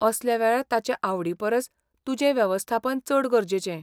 असल्या वेळार ताचे आवडीपरस तुजें वेवस्थापन चड गरजेचें.